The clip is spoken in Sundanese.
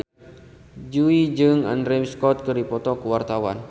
Jui jeung Andrew Scott keur dipoto ku wartawan